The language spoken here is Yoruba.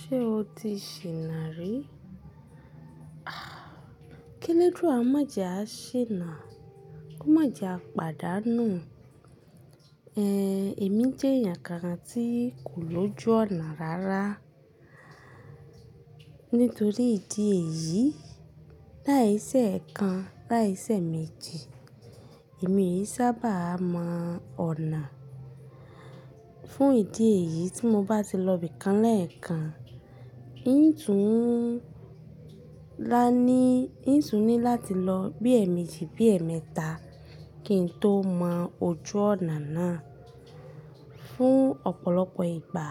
Ṣé o ti ṣìnà rí? K'élédùà má jẹ à ṣìnà, má jẹ à pàdánù. Ehn, èmi jẹ́ èyàn kan tí kò lójú ọ̀nà rárá nítorí ìdí èyí láìsẹ́ èèkan, láìsẹ́ èèméjì èmi ìí sábàá mọ ọ̀nà. Fún ìdí èyí tí mo bá ti lọ ibìkan lẹ́ẹ̀kan, ií n tún ni lati lọ bí ẹ̀èmejì, bí ẹ̀èmẹta kí n tó mọ ojú ọ̀nà náà. Fún ọ̀pọ̀lọpọ̀ ìgbà